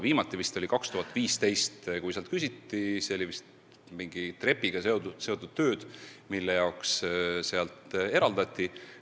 Viimati vist küsiti sealt raha aastal 2015 – olid justkui mingi trepiga seotud tööd –, ja siis see raha ka eraldati.